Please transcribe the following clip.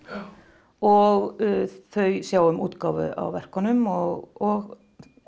og þau sjá um útgáfu á verkunum og